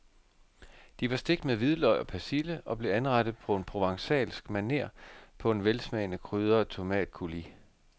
De var stegt med hvidløg og persille og blev anrettet på provencalsk maner på en velsmagende krydret tomatcoulis.